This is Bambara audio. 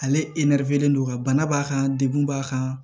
Ale e nɛrɛfelen don wa bana b'a kan degun b'a kan